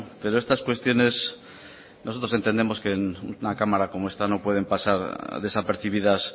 pero estas cuestiones nosotros entendemos que en una cámara como esta no pueden pasar desapercibidas